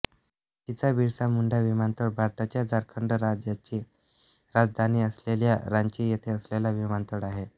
रांचीचा बिरसा मुंडा विमानतळ भारताच्या झारखंड राज्याची राजधानी असलेल्या रांची येथे असलेला विमानतळ आहे